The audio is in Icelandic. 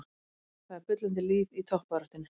Það er bullandi líf í toppbaráttunni.